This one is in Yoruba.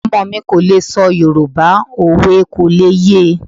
Ọmọ mi kò lè sọ Yoruba, òwe kò lè ye.